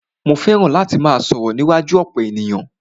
Mó fẹràn láti máà sọ̀rọ̀ níwájú ọ̀pọ̀ ènìyàn.